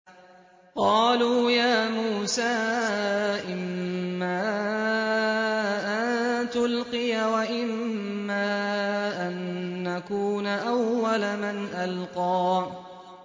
قَالُوا يَا مُوسَىٰ إِمَّا أَن تُلْقِيَ وَإِمَّا أَن نَّكُونَ أَوَّلَ مَنْ أَلْقَىٰ